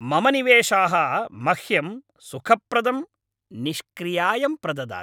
मम निवेशाः मह्यं सुखप्रदं निष्क्रियायं प्रददति।